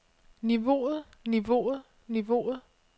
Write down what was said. niveauet niveauet niveauet